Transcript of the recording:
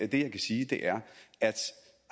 det jeg kan sige er at